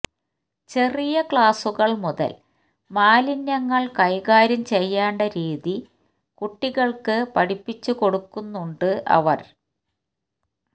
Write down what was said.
ചെറിയ ക്ലാസുകള് മുതല് മാലിന്യങ്ങള് കൈകാര്യം ചെയ്യേണ്ട രീതി കുട്ടികള്ക്ക് പഠിപ്പിച്ചു കൊടുക്കുന്നുണ്ട് അവര്